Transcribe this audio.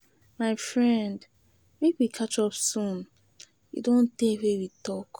My friend, make we catch up soon, e don tay we talk.